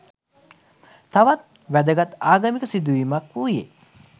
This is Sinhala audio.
තවත් වැදගත් ආගමික සිදු වීමක් වූයේ